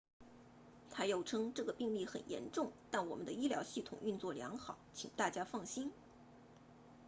他又称这个病例很严重但我们的医疗系统运作良好请大家放心